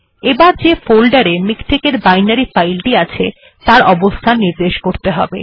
এবার যে ফোল্ডার এ মিকটেক এর বাইনারি ফাইল টি আছে তার অবস্থান নির্দেশ করতে হবে